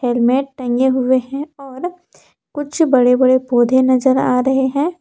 टंगे हुए हैं और कुछ बड़े बड़े पौधे नजर आ रहे हैं।